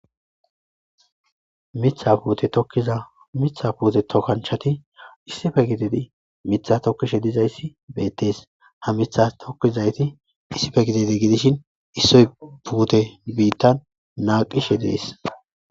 Mithatetoizamitha puute tokanchati issife gidedi mitha tokkishe dizayssi beettees ha mitha tokkizayti issife gididi gidishin issoy puute biittan naaqishe dees.